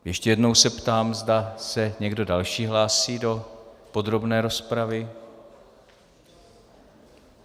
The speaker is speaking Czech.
Ještě jednou se ptám, zda se někdo další hlásí do podrobné rozpravy.